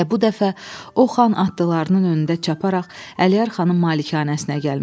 Və bu dəfə o, xan atlılarının önündə çaparaq Əliyar xanın malikanəsinə gəlmişdi.